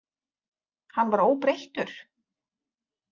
Hann var óbreyttur?